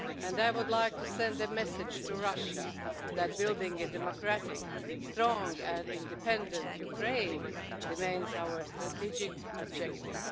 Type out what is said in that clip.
I would also like to send a message to Russia that building a democratic, strong and independent Ukraine remains our strategic objective.